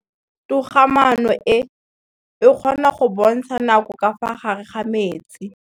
Toga-maanô e, e kgona go bontsha nakô ka fa gare ga metsi.